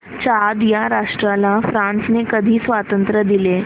Chad या राष्ट्राला फ्रांसने कधी स्वातंत्र्य दिले